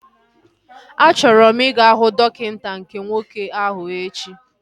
A chọrọ m ị ga huu dọkịta nke nwoke ahu echi